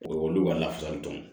O olu ka lafasali tɔn